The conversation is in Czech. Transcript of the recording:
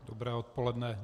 Dobré odpoledne.